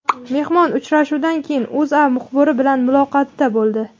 Mehmon uchrashuvdan keyin O‘zA muxbiri bilan muloqotda bo‘ldi .